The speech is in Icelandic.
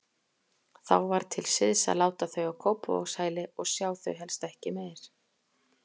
Þá var til siðs að láta þau á Kópavogshæli og sjá þau helst ekki meir.